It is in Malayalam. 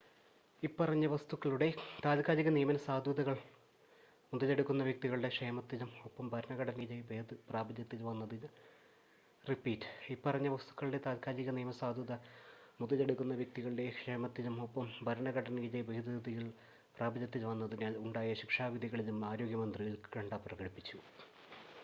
ഇപ്പറഞ്ഞ വസ്തുക്കളുടെ താത്ക്കാലിക നിയമസാധുത മുതലെടുക്കുന്ന വ്യക്തികളുടെ ക്ഷേമത്തിലും ഒപ്പം ഭരണഘടനയിലെ ഭേദഗതികൾ പ്രാബല്യത്തിൽ വന്നതിനാൽ ഉണ്ടായ ശിക്ഷാവിധികളിലും ആരോഗ്യമന്ത്രി ഉത്കണ്ഠ പ്രകടിപ്പിച്ചു